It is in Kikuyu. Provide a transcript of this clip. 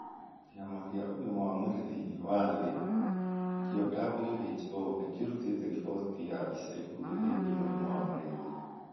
Kĩama kĩa Ũgima wa Mwĩrĩ thĩinĩ wa Thĩ (WHO) nĩ kĩrutĩte riboti ya ica ikuhĩ ĩgiĩ mũrimũ wa malaria.